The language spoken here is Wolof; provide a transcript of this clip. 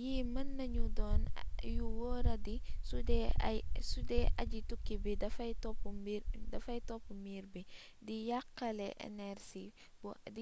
yii mën nañu doon yu wooradi sudee aji-tukki bi dafay topp miir bi di